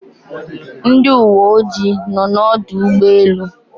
Ndị uwe ojii nọ n'ọdụ ụgbọelu